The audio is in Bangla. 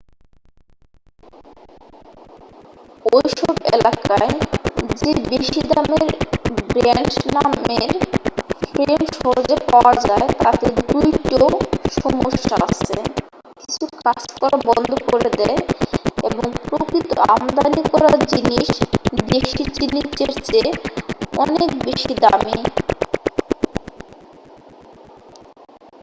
ওই সব এলাকায় যে বেশী দামের ব্র‍্যান্ড নামের ফ্রেম সহজে পাওয়া যায় তাতে 2 টো সমস্যা আছে; কিছু কাজ করা বন্ধ করে দেয় এবং প্রকৃত আমদানি করা জিনিস দেশী জিনিসের চেয়ে অনেক দামী।